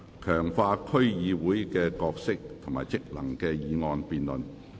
"強化區議會的角色及職能"的議案辯論。